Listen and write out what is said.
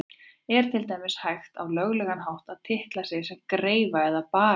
Er til dæmis hægt á löglegan hátt að titla sig sem greifa eða barón?